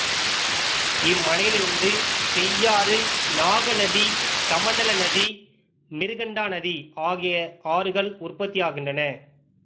இம்மலையிலிருந்து செய்யாறு நாகநதிகமண்டல நதி மிருகண்டாநதி ஆகிய ஆறுகள் உற்பத்தியாகின்றன